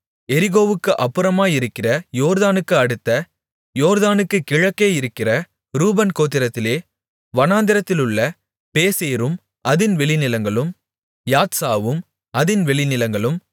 எரிகோவுக்கு அப்புறமாயிருக்கிற யோர்தானுக்கு அடுத்து யோர்தானுக்குக் கிழக்கே இருக்கிற ரூபன் கோத்திரத்திலே வனாந்திரத்திலுள்ள பேசேரும் அதின் வெளிநிலங்களும் யாத்சாவும் அதின் வெளிநிலங்களும்